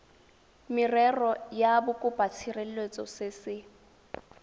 merero ya bokopatshireletso se se